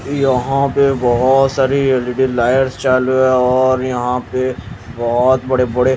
यहां पे बहोत सारी एल_इ_डी लाइट चालू है और यहां पे बहोत बड़े बड़े--